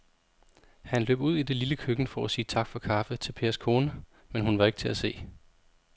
Han løb ud i det lille køkken for at sige tak for kaffe til Pers kone, men hun var ikke til at se.